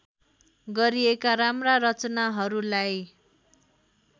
गरिएका राम्रा रचनाहरूलाई